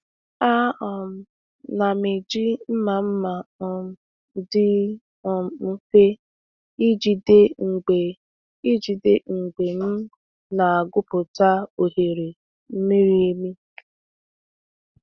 A um na m eji mma mma um dị um mfe ijide mgbe ijide mgbe m na-agwupụta oghere miri emi.